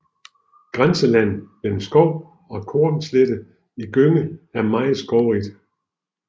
Grænselandet mellem skov og kornslette i Gønge er meget skovrigt